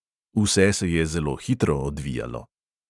Vse se je zelo hitro odvijalo.